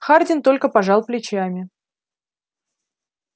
хардин только пожал плечами